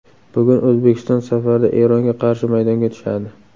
Bugun O‘zbekiston safarda Eronga qarshi maydonga tushadi.